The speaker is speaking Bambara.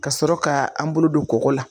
Ka sɔrɔ ka an bolo don kɔgɔ la.